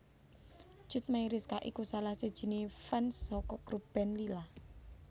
Cut Meyriska iku salah sijine fans saka grup band Lyla